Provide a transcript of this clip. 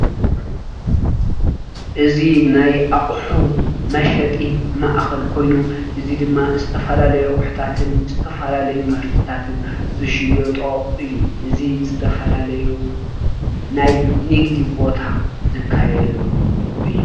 እዚ ናይ ኣቑሑ መሸጢ ማእኸል ኮይኑ እዚ ድማ ዝተፈላለዩ ኣቑሕታትን ዝተፈላለዩ ምህርትታን ዝሽየጦ እዩ። እዚ ዝተፈላለዩ ናይ ንግዲ ቦታ ዝካየደሉ እዩ።